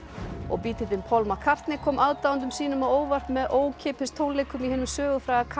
Paul McCartney kom aðdáendum sínum á óvart með ókeypis tónleikum í hinum sögufræga